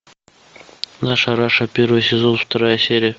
наша раша первый сезон вторая серия